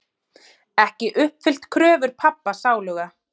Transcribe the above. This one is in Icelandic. Ekki uppfyllt kröfur pabba sáluga.